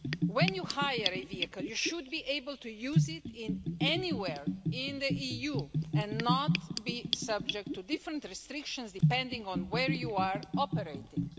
When you hire a vehicle, you should be able to use it anywhere in the EU and not be subject to different restrictions depending on where you are operating.